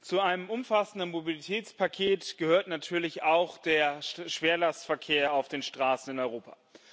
Zu einem umfassenden Mobilitätspaket gehört natürlich auch der Schwerlastverkehr auf den Straßen in Europa.